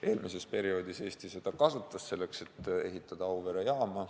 Eelmisel perioodil kasutas Eesti seda võimalust selleks, et ehitada Auvere jaam.